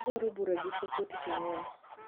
adwaro bura gi cfo tich angwen